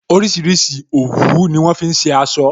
Orísìírísìí òwú ni wọn fi ṣe aṣọ